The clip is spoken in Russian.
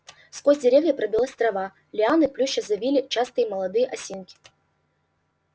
сквозь деревья пробилась трава лианы плюща завили частые молодые осинки